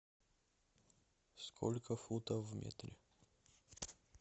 сколько футов в метре